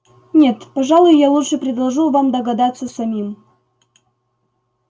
нет пожалуй я лучше предложу вам догадаться самим